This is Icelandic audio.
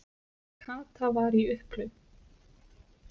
Kata var í upphlut.